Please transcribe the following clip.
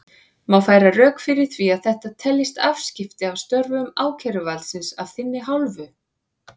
Má færa rök fyrir því að þetta teljist afskipti af störfum ákæruvaldsins af þinni hálfu?